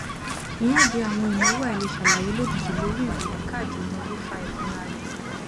ìhànde àwọn ìnáwó àìleṣàlàyé lójijì lórí ìròyìn káàdì ìnáwó fa ìfura rẹ